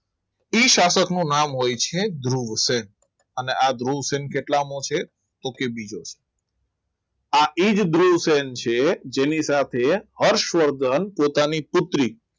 ઈ શાસકનું નામ હોય છે ધ્રુવસેન અને આ ધ્રુવસેન કેટલામું છે? તો કે બીજો આ એ જ ધ્રુવસેન છે જેની સાથે હર્ષવર્ધન પોતાની પુત્રી